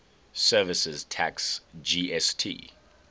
services tax gst